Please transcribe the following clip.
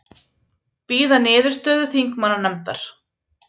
Bíða niðurstöðu þingmannanefndar